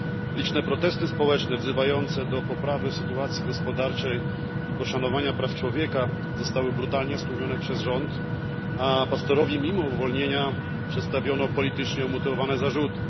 Liczne protesty społeczne wzywające do poprawy sytuacji gospodarczej i poszanowania praw człowieka zostały brutalnie stłumione przez rząd, a pastorowi mimo uwolnienia przedstawiono politycznie umotywowane zarzuty.